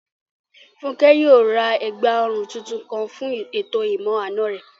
Fúnkẹ́ yóò ra ẹ̀gbà òrun tuntun kan fún ètò ìmọ-àna rẹ̀